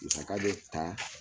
Musaga bɛ taa